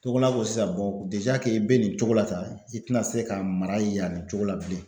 Tog'o n'a fɔ sisan i bɛ nin cogo la tan i tɛna se ka mara yan nin cogo la bilen.